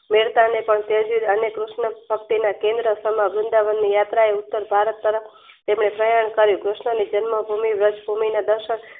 મેડતાને ને કૃષ્ણ ભક્તિમાં કેન્દ્ર સામ વૃંદાવનની યાત્રાએ ઉત્તર ભારત તરફ તેને પયન કર્યું કૃસ્ણની નિ જન્મ ભૂમિ વ્રજ સુમીના દર્શન